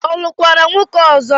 Ọ lụkwara nwoke ọzọ?